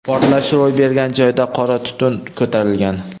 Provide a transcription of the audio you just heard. Portlash ro‘y bergan joyda qora tutun ko‘tarilgan.